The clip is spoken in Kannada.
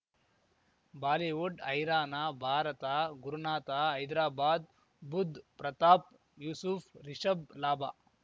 ಬಾಲಿವುಡ್ ಹೈರಾನ ಭಾರತ ಗುರುನಾಥ ಹೈದ್ರಾಬಾದ್ ಬುಧ್ ಪ್ರತಾಪ್ ಯೂಸುಫ್ ರಿಷಬ್ ಲಾಭ